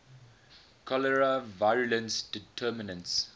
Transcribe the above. cholerae virulence determinants